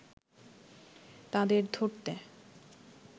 তাদের ধরতে